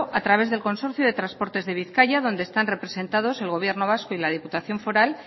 a través del consorcio de transportes de bizkaia donde están representados el gobierno vasco y la diputación foral